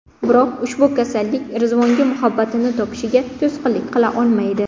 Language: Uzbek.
Biroq ushbu kasallik Rizvonga muhabbatini topishiga to‘sqinlik qila olmaydi.